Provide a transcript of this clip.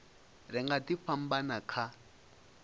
ri nga ḓi fhambana kha